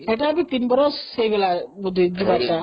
ସେଇଟା ବି ୩ ବରଷ ହେଇଗଲାଣି ବୋଧେ ଯିବାଟା